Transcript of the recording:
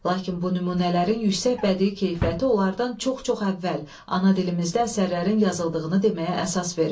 Lakin bu nümunələrin yüksək bədii keyfiyyəti onlardan çox-çox əvvəl ana dilimizdə əsərlərin yazıldığını deməyə əsas verir.